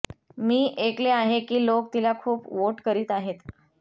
मी ऐकले आहे की लोक तिला खूप वोट करीत आहेत